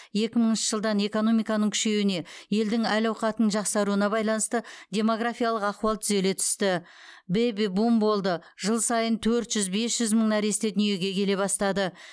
екі мыңыншы жылдан экономиканың күшеюіне елдің әл әуқатының жақсаруына байланысты демографиялық ахуал түзеле түсті бэби бум болды жыл сайын төрт жүз бес жүз мың нәресте дүниеге келе бастады